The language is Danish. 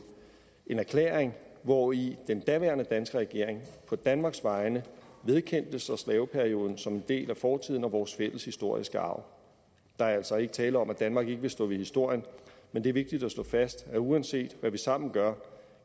en erklæring hvori den daværende danske regering på danmarks vegne vedkendte sig slaveperioden som en del af fortiden og vores fælles historiske arv der er altså ikke tale om at danmark ikke vil stå ved historien men det er vigtigt at slå fast at uanset hvad vi sammen gør